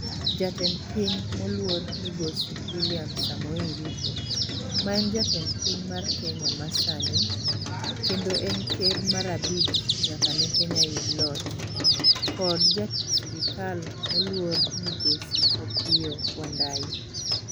jatend piny moluor migosi william samoei ruto ,ma en jatend piny mar kenya masani kendo en ker mar abich nyaka ne kenya yud loch kd ja tich sirikal moluor migosi opiyo wandayi